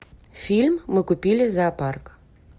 фильм мы купили зоопарк